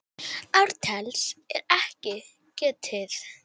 Ártals er ekki getið.